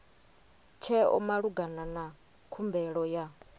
tsheo malugana na khumbelo ya